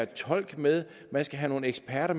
tolk med man skal have nogle eksperter